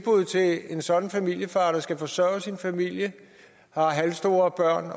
en sådan familiefar der skal forsørge sin familie og har halvstore børn